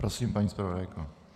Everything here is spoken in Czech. Prosím, paní zpravodajko.